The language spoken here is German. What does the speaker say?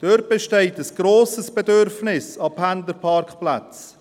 Dort besteht ein grosses Bedürfnis nach Pendlerparkplätzen.